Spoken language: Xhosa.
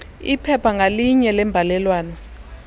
iphepha ngalinye lembalelwano